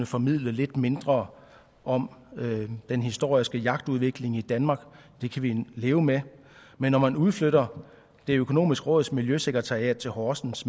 formidlet lidt mindre om den historiske jagtudvikling i danmark det kan vi leve med men når man udflytter det økonomiske råds miljøsekretariat til horsens